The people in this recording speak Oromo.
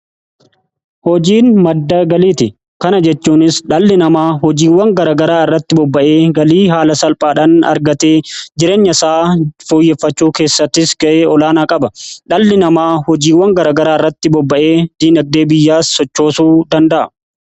hojiin madda galiiti. kana jechuunis dhalli namaa hojiiwwan garagaraa irratti bobba'ee galii haala salphaadhan argatee jireenya isaa fooyyeffachuu keessattis ga'ee olaanaa qaba . dhalli namaa hojiiwwan garagaraa irratti bobba'ee diinagdee biyyaa sochoosuu danda'a.